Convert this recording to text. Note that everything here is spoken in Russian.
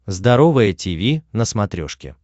здоровое тиви на смотрешке